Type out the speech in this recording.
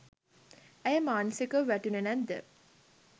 ඇය මානසිකව වැටුණේ නැද්ද?